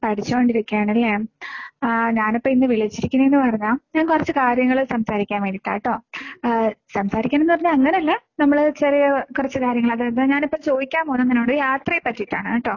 പഠിച്ചുകൊണ്ടിരിക്കാണല്ലേ? ആ ഞാനിപ്പോ ഇന്ന് വിളിലിച്ചിരിക്കിണേന്നു പറഞ്ഞാ ഞാൻ കുറച്ചു കാര്യങ്ങള് സംസാരിക്കാൻ വേണ്ടിയിട്ടാട്ടോ. ആഹ് സംസാരിക്കാന്നു പറഞ്ഞാ അങ്ങനെയല്ലാ നമ്മുടെ ചെറിയ കുറച്ചു കാര്യങ്ങള് അതായത് ഞാനിപ്പോ ചോദിക്കാൻ പോകുന്നത് നിന്നോട് യാത്രയെ പ്പറ്റിയിട്ടാണ് കേട്ടോ.